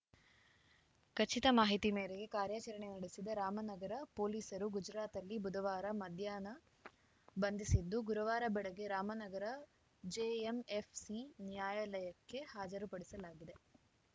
ಖಚಿತ ಮಾಹಿತಿ ಮೇರೆ ಕಾರ್ಯಾಚರಣೆ ನಡೆಸಿದ ರಾಮನಗರ ಪೊಲೀಸರು ಗುಜರಾತ್‌ಅಲ್ಲಿ ಬುಧವಾರ ಮಧ್ಯಾಹ್ನ ಬಂಧಿಸಿದ್ದು ಗುರುವಾರ ಬೆಳಗ್ಗೆ ರಾಮನಗರ ಜೆಎಂಎಫ್‌ಸಿ ನ್ಯಾಯಾಲಯಕ್ಕೆ ಹಾಜರುಪಡಿಸಲಾಗಿದೆ